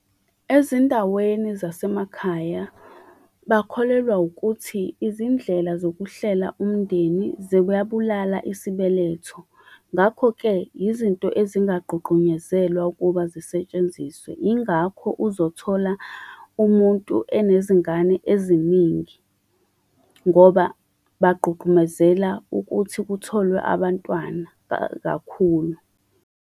Ezindaweni zasemakhaya bakholelwa ukuthi izindlela zokuhlela umndeni ziyabulala isibeletho. Ngakho-ke, izinto ezingagqugqunyezelwa ukuba zisetshenziswe. Yingakho uzothola umuntu enezingane eziningi, ngoba bagqugqumezela ukuthi kutholwe abantwana kakhulu.